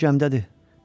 O indi gəmdədir.